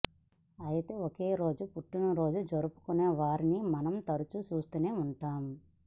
అయితే ఒకే రోజు పుట్టినరోజు జరుపుకునే వారిని మనం తరచూ చూస్తూనే ఉంటాం